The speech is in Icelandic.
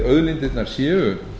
auðlindirnar séu